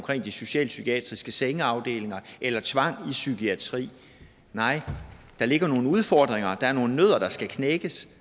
de socialpsykiatriske sengeafdelinger eller tvang i psykiatrien nej der ligger nogle udfordringer der er nogle nødder der skal knækkes